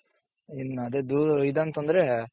ಇನ್ ಅದೇ ದೂ ಇದ್ ಅಂತoದ್ರೆ,